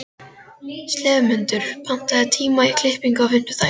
slefmundur, pantaðu tíma í klippingu á fimmtudaginn.